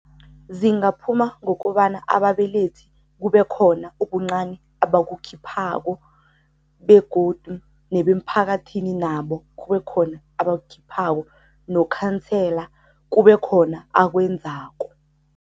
Zingaphuma ngokobana ababelethi kube khona ubuncani abakukhiphako begodu nebemphakathini nabo kube khona abakukhiphako, nokhansela kube khona akwenzako.